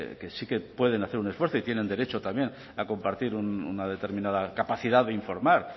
que sí que pueden hacer un esfuerzo y tienen derecho también a compartir una determinada capacidad de informar